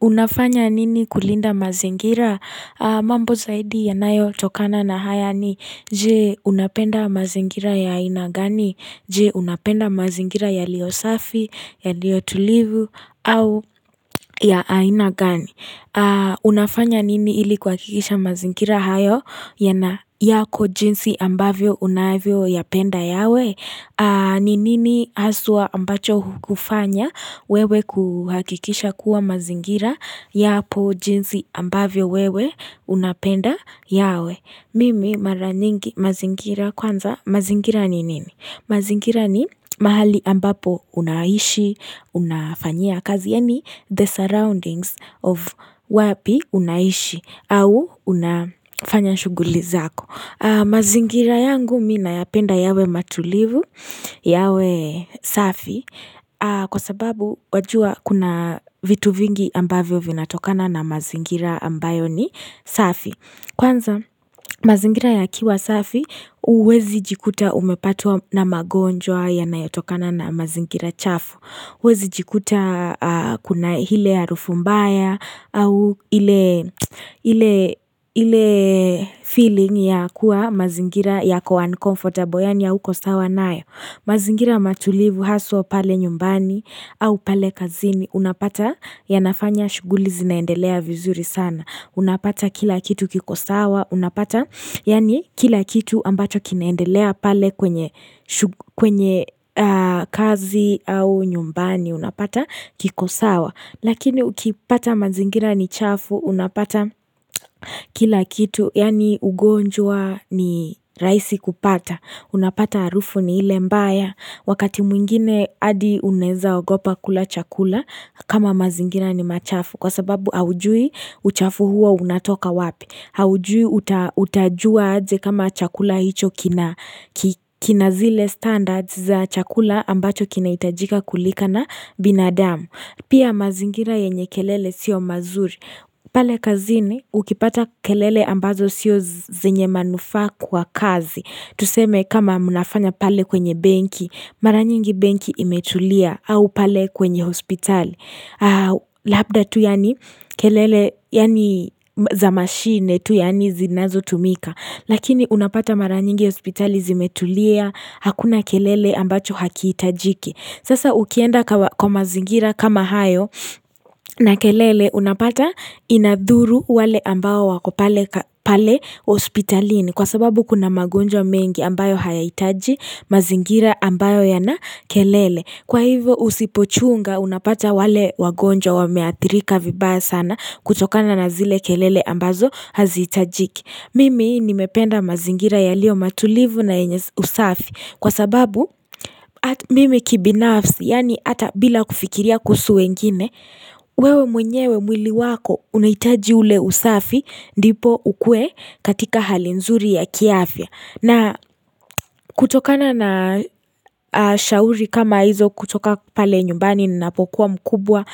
Unafanya nini kulinda mazingira? Mambo zaidi yanayo chokana na haya ni je unapenda mazingira ya ina gani? Je unapenda mazingira ya lio safi, ya lio tulivu, au ya ina gani? Unafanya nini ili kuhakikisha mazingira hayo yako jinsi ambavyo unaevyo yapenda yawe Ninini asua ambacho kufanya wewe kuhakikisha kuwa mazingira yapo jinsi ambavyo wewe unapenda yawe Mimi maraningi mazingira kwanza mazingira ni nini mazingira ni mahali ambapo unaishi, unafanyia kazi, yani the surroundings of wapi unaishi au unafanya shughuli zako. Mazingira yangu mina yapenda yawe matulivu, yawe safi, kwa sababu wajua kuna vitu vingi ambavyo vinatokana na mazingira ambayo ni safi. Kwanza mazingira ya kiwasafi uwezi jikuta umepatua na magonjwa ya nayotokana na mazingira chafu Wezi jikuta kuna hile ya rufumbaya au ile feeling ya kuwa mazingira ya kwa unkomfortable Yani ya huko sawa nae mazingira matulivu haswa pale nyumbani au pale kazini Unapata ya nafanya shuguli zinaendelea vizuri sana Unapata kila kitu kikosawa, unapata, yani kila kitu ambacho kineendelea pale kwenye kazi au nyumbani, unapata kikosawa. Lakini ukipata mazingira ni chafu, unapata kila kitu, yani ugonjua ni raisi kupata. Unapata arufu ni ile mbaya, wakati mwingine adi uneza ogopa kula chakula, kama mazingira ni machafu. Kwa sababu aujui uchafuhua unatoka wapi Aujui utajua adze kama chakula hicho kina Kinazile standards za chakula ambacho kina itajika kulika na binadamu Pia mazingira yenye kelele sio mazuri pale kazini ukipata kelele ambazo sio zenye manufa kwa kazi Tuseme kama munafanya pale kwenye benki Maranyingi benki imetulia au pale kwenye hospital Labda tu yani kelele yani zamashine tu yani zinazo tumika Lakini unapata maranyingi hospitali zimetulia Hakuna kelele ambacho hakiitajiki Sasa ukienda kwa mazingira kama hayo na kelele unapata inadhuru wale ambao wako pale hospitalini Kwa sababu kuna magonjo mengi ambayo hayaitaji mazingira ambayo yana kelele Kwa hivyo usipochunga unapata wale wagonja wameatrika vibaa sana kutokana na zile kelele ambazo hazi itajiki. Mimi nimependa mazingira ya lio matulivu na enyes usafi kwa sababu mimi kibinafsi yaani ata bila kufikiria kusu wengine wewe mwenyewe mwili wako unaitaji ule usafi dipo ukue katika hali nzuri ya kiafia. Na kutokana na shauri kama hizo kutoka pale nyumbani ninapokuwa mkubwa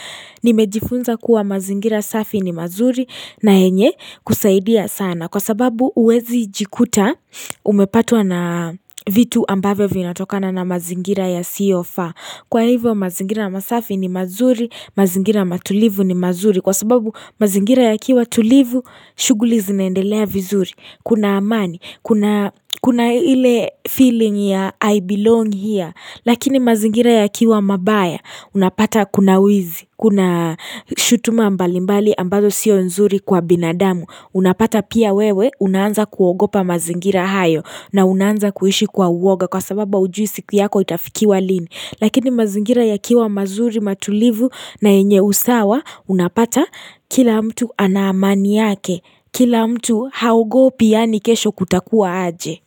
nimejifunza kuwa mazingira safi ni mazuri na enye kusaidia sana kwa sababu uwezi jikuta umepatua na vitu ambavyo vinatokana na mazingira yasiofaa. Kwa hivyo mazingira masafi ni mazuri, mazingira matulivu ni mazuri. Kwa sababu mazingira ya kiwa tulivu, shughuli zineendelea vizuri. Kuna amani, kuna hile feeling ya I belong here. Lakini mazingira yakiwa mabaya, unapata kuna wizi, kuna shutuma mbali mbali ambazo sio nzuri kwa binadamu. Unapata pia wewe unanza kuogopa mazingira hayo na unanza kuishi kwa uwoga kwa sababa ujui siku yako itafikiwa lini. Lakini mazingira yakiwa mazuri matulivu na enye usawa unapata kila mtu anaamani yake. Kila mtu haogo pia ni kesho kutakuwa aje.